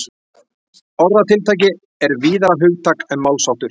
Orðatiltæki er víðara hugtak en málsháttur.